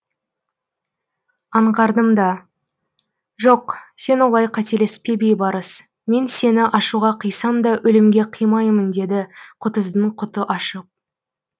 аңғардым да жоқ сен олай қателеспе бейбарыс мен сені ашуға қисам да өлімге қимаймын деді құтыздың құты қашып